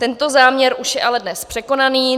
Tento záměr už je ale dnes překonaný.